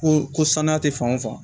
Ko ko sanuya tɛ fan o fan